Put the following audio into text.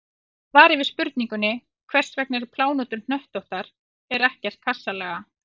Í svari við spurningunni Hvers vegna eru plánetur hnöttóttar en ekki kassalaga?